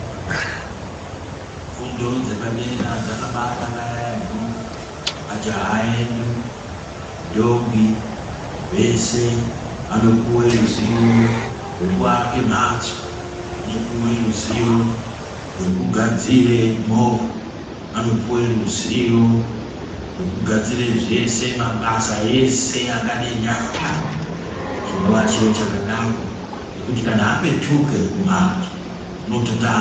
Fundo dzepadera dzakabanaka yaemho. Majaha edu nendombi vese vanopuwe ruzivo rwekuake mhatso, anopuwe ruzivo rwekugadzire movha, anopuwe ruzivo rwekugadzire zvese- mabasa ese anode nyara. Chinova chiro chakanaka chekuti kana apetuke kumhatso unonota...